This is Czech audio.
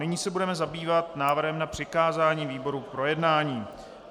Nyní se budeme zabývat návrhem na přikázání výboru k projednání.